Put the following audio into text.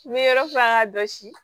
N bɛ yɔrɔ furan ka jɔsi